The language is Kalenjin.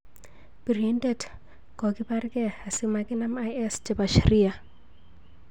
Pirindet kokiparkei asimakinam IS chepo Shria